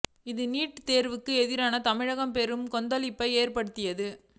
இது நீட் தேர்வுக்கு எதிராக தமிழகத்தில் பெரும் கொந்தளிப்பை ஏற்படுத்தியது